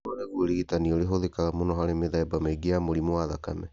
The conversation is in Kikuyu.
Ũyũ nĩguo ũrigitani ũrĩa ũhũthĩkaga mũno harĩ mĩthemba mĩingĩ ya mũrimũ wa thakame .